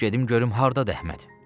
Gedim görüm hardadır Əhməd.